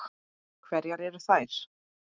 Hverjar eru þær?